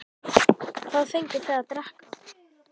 Hugrún Halldórsdóttir: Hvað fenguð þið að drekka?